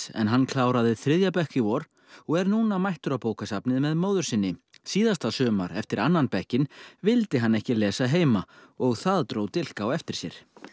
en hann kláraði þriðja bekk í vor og er núna mættur á bókasafnið með móður sinni síðasta sumar eftir annan bekkinn vildi hann ekki lesa heima og það dró dilk á eftir sér